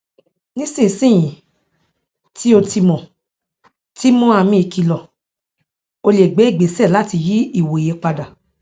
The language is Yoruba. nísinsin yìí tí o ti mọ ti mọ àmì ìkìlọ o lè gbé ìgbéṣẹ láti yí ìwòye padà